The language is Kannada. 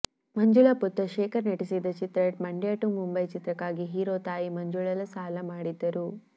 ಮಂಜುಳ ಪುತ್ರ ಶೇಖರ್ ನಟಿಸಿದ್ದ ಚಿತ್ರ ಮಂಡ್ಯ ಟು ಮುಂಬೈ ಚಿತ್ರಕ್ಕಾಗಿ ಹೀರೋ ತಾಯಿ ಮಂಜುಳ ಸಾಲ ಮಾಡಿದ್ದರು